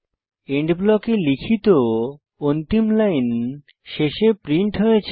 and ব্লকে লিখিত অন্তিম লাইন শেষে প্রিন্ট হয়েছে